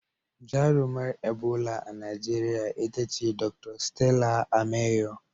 Jarumar Ebola a Najeriya ita ce Dr. 'Stella Ameyo.'